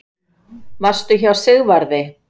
Varstu hjá Sigvarði?